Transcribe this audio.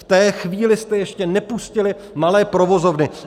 V té chvíli jste ještě nepustili malé provozovny.